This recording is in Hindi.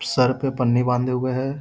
सर पे पन्नी बांधे हुए है।